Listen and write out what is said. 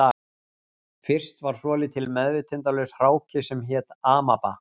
Fyrst var svolítill meðvitundarlaus hráki sem hét amaba